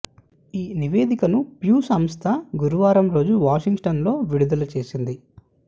ఈ నివేదికను ప్యూ సంస్థ గురువారం రోజు వాషింగ్టన్ లో విడుదల చేసింది